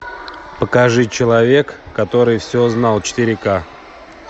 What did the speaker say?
покажи человек который все знал четыре ка